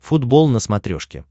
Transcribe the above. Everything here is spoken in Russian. футбол на смотрешке